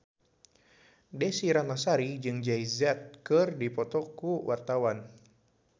Desy Ratnasari jeung Jay Z keur dipoto ku wartawan